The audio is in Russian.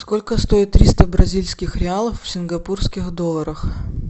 сколько стоит триста бразильских реалов в сингапурских долларах